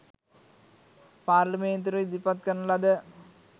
පාර්ලිමේන්තුවට ඉදිරිපත් කරන ලද